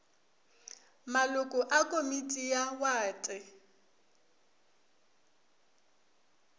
maloko a komiti ya wate